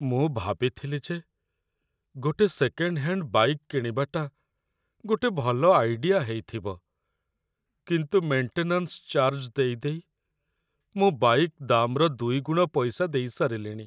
ମୁଁ ଭାବିଥିଲି ଯେ ଗୋଟେ ସେକେଣ୍ଡ୍ ହ୍ୟାଣ୍ଡ୍ ବାଇକ୍‌ କିଣିବାଟା ଗୋଟେ ଭଲ ଆଇଡିଆ ହେଇଥିବ କିନ୍ତୁ ମେଣ୍ଟେନାନ୍ସ ଚାର୍ଜ ଦେଇ ଦେଇ ମୁଁ ବାଇକ୍‌ ଦାମ୍‌ର ଦୁଇଗୁଣ ପଇସା ଦେଇ ସାରିଲିଣି ।